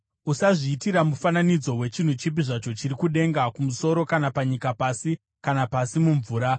Usazviitira mufananidzo wechinhu chipi zvacho chiri kudenga kumusoro kana panyika pasi kana pasi mumvura.